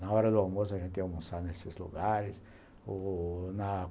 Na hora do almoço, a gente ia almoçar nesses lugares o na